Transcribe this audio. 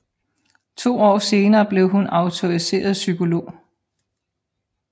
To år senere blev hun autoriseret psykolog